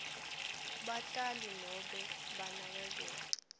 batali nobe banakekeli